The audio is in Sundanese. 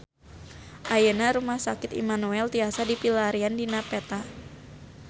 Ayeuna Rumah Sakit Immanuel tiasa dipilarian dina peta